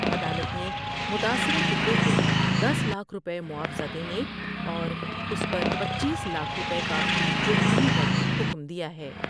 عدالت نے متاثرہ کنبے کو دس لاکھ روپے معاوضہ دینے اور اس پر چپیں لاکھ روپے کا جرمانے کا بھی حکم دیا ہے۔